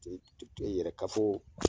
yɛrɛ kafo